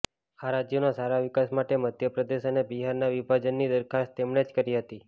આ રાજ્યોના સારા વિકાસ માટે મધ્યપ્રદેશ અને બિહારના વિભાજનની દરખાસ્ત તેમણે જ કરી હતી